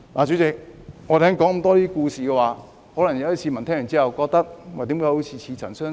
主席，我剛才說了很多故事，市民聽到可能會覺得怎麼好像似曾相識？